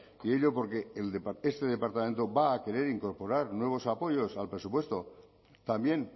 y ello porque este departamento va a querer incorporar nuevos apoyos al presupuesto también